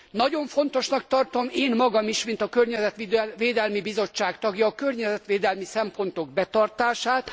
Nagyon fontosnak tartom én magam is, mint a környezetvédelmi bizottság tagja a környezetvédelmi szempontok betartását.